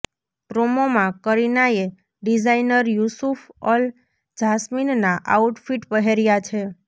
પ્રોમોમાં કરીનાએ designer Yousef Al જાસ્મીનના outfit પહેર્યાં છે